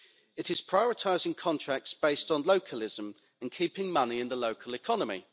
It is prioritising contracts based on localism and keeping money in the local economy.